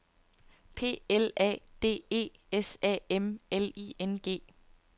P L A D E S A M L I N G